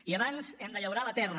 i abans hem de llaurar la terra